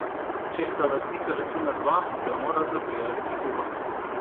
Če sta lastnika računa dva, ga morata prijaviti oba.